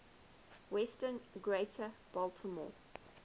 western greater baltimore